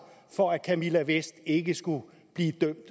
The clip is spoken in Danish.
for at camilla vest ikke skulle blive dømt